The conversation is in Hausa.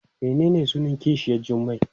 Menene sunan kishiyar Jummai?